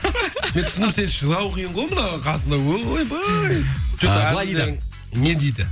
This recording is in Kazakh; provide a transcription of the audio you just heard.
мен түсіндім сені шыдау қиын ғой мынаның қасында ойбай жоқ былай дейді не дейді